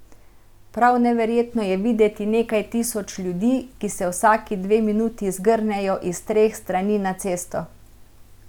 Prav neverjetno je videti nekaj tisoč ljudi, ki se vsaki dve minuti zgrnejo iz treh strani na cesto.